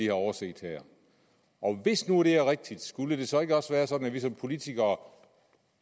har overset her og hvis nu det er rigtigt skulle det så ikke også være sådan at vi som politikere